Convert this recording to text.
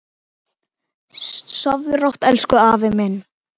Sofðu rótt elsku afi minn.